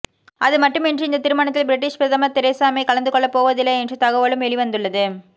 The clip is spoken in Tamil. அதுமட்டுமின்றி இந்தத் திருமணத்தில் ப்ரிட்டிஷ் பிரதமர் தெரேசா மே கலந்துகொள்ளப் போவதில்லை என்ற தகவலும் வெளிவந்துள்ளது